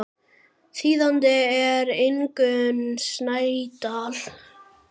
Þýðandi er Ingunn Snædal.